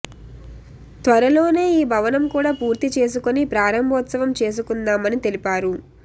త్వరలోనే ఈ భవనం కూడా పూర్తి చేసుకుని ప్రారంభోత్సవం చేసుకుందామని తెలిపారు